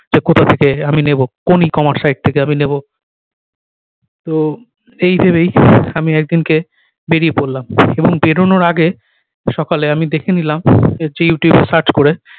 যে কোথা থেকে আমি নেবো কোন e-commerce site থেকে আমি নেবো তো এই ভেবেই আমি একদিনকে বেরিয়ে পড়লাম এবং বেরোনোর আগে সকালে আমি দেখে নিলাম যে youtube search করে